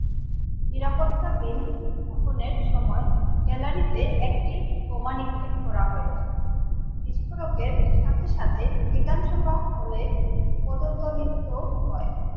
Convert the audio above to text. নিরাপত্তাধীন উত্থাপনের সময় gallery তে একটি বোমা নিক্ষেপ করা হয় বিস্ফোরকের সাথে সাথে বিধানসভা হলে পদদলিত হয়।